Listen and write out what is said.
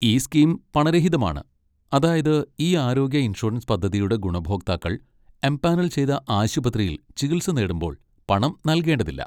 ഈ സ്കീം പണരഹിതമാണ്, അതായത് ഈ ആരോഗ്യ ഇൻഷുറൻസ് പദ്ധതിയുടെ ഗുണഭോക്താക്കൾ എംപാനൽ ചെയ്ത ആശുപത്രിയിൽ ചികിത്സ നേടുമ്പോൾ പണം നൽകേണ്ടതില്ല.